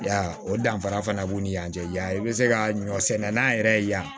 Ya o danfara fana b'u ni ɲɔgɔn cɛ yan i bɛ se ka ɲɔ sɛnɛ n'a yɛrɛ ye yan